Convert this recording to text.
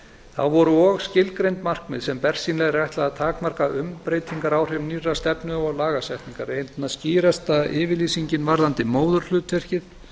þá voru og skilgreind markmið sem bersýnilega er ætlað að takmarka umbreytingaráhrif nýrrar stefnu og lagasetningar einna skýrasta yfirlýsingin varðandi móðurhlutverkið